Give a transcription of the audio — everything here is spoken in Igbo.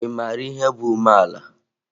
Ị mara ihe bụ ihe bụ umeala?